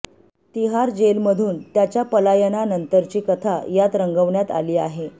तिहार जेलमधून त्याच्या पलायनानंतरची कथा यात रंगवण्यात आली आहे